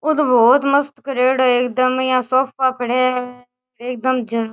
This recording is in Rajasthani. ओ तो बहोत मस्त करेडो है एकदम यहाँ सोफा पड़या है एकदम झ --